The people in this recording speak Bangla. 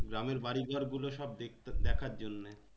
গ্রামের বাড়ি ঘর গুলো সব দেখতে দেখার জন্যে।